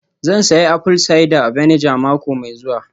Zan sayi apple cider vinegar mako mai zuwa